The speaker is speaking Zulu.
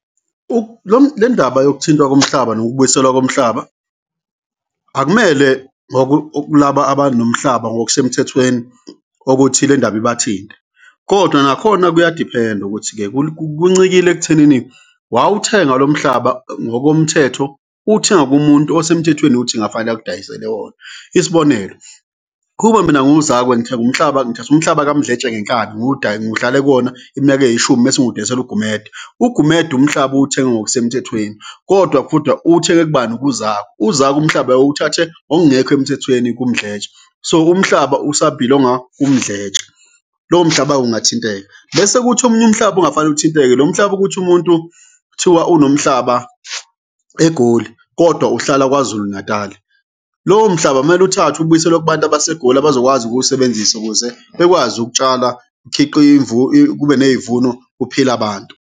Lo le ndaba yokuthintwa komhlaba nokubuyiselwa komhlaba akumele kulaba abanomhlaba ngokusemthethweni okuthi le ndaba ibathinte kodwa nakhona kuyadiphenda ukuthi-ke kuncikile ekuthenini wawuthenga lo mhlaba ngokomthetho, uwuthenga kumuntu osemthethweni ukuthi kungafanele akudayisele wona. Isibonelo, kube mina ngiwuZakwe ngithenge umhlaba, ngithathe umhlaba ka Mdletshe ngenkani, ngihlale kuwona iminyaka eyishumi mese ngiwudayisela uGumede, uGumede umhlaba uwuthenge ngokusemthethweni kodwa uwuthenge kubani? KuZakwe, uZakwe umhlaba uwuthathe ngokungekho emthethweni kuMdletshe, so umhlaba usa-belong-a kuMdletshe. Lowo mhlaba-ke ungathinteka bese kuthi omunye umhlaba ongafanele uthinteke, lo mhlaba ukuthi umuntu kuthiwa unomhlaba eGoli kodwa uhlala KwaZulu Natali, lowo mhlaba mele uthathwe ubuyiselwe kubantu abase Goli abazokwazi ukuwusebenzisa ukuze bekwazi ukutshala kube ney'vuno, kuphile abantu.